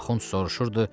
Axund soruşurdu: